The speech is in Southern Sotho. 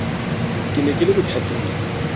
ke ne ke le bothateng